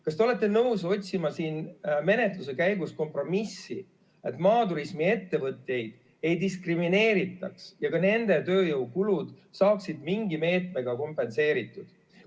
Kas te olete nõus otsima siin menetluse käigus kompromissi, et maaturismiettevõtteid ei diskrimineeritaks ja ka nende tööjõukulud saaksid mingi meetmega kompenseeritud?